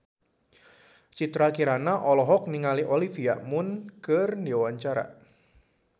Citra Kirana olohok ningali Olivia Munn keur diwawancara